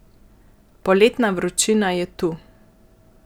Poletna vročina je tu.